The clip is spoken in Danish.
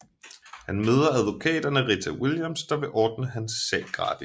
Han møder advokaten Rita Williams der vil ordne hans sag gratis